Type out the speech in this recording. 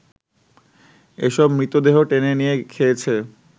এসব মৃতদেহ টেনে নিয়ে খেয়েছে